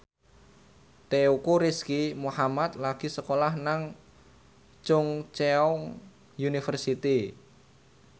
Teuku Rizky Muhammad lagi sekolah nang Chungceong University